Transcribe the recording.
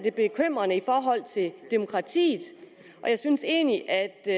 er bekymrende i forhold til demokratiet og jeg synes egentlig at det